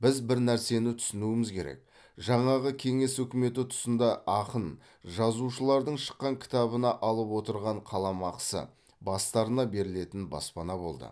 біз бір нәрсені түсінуіміз керек жаңағы кеңес үкіметі тұсында ақын жазушылардың шыққан кітабына алып отырған қаламақысы бастарына берілетін баспана болды